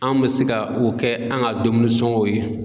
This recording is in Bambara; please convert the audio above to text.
An mɛ se ka o kɛ an ka dumuni sɔngɔw ye.